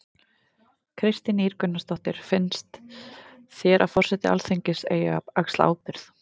Kristín Ýr Gunnarsdóttir: Finns þér að forseti Alþingis eigi að axla ábyrgð?